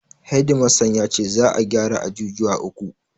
Hedi mastan ya ce za'a gyara ajujuwa uku.